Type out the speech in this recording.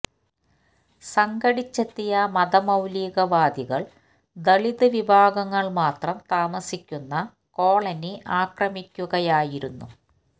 സംഘടിച്ചെത്തിയ മതമൌലിക വാദികൾ ദളിത് വിഭാഗങ്ങൾ മാത്രം താമസിക്കുന്ന കോളനി ആക്രമിക്കുകയായിരുന്നു